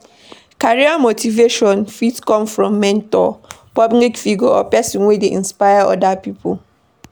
Career motivation fit come from mentor, public figure or person wey dey inspire oda pipo